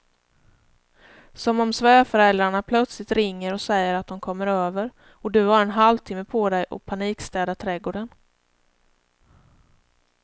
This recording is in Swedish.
Som om svärföräldrarna plötsligt ringer och säger att de kommer över och du har en halvtimme på dig att panikstäda trädgården.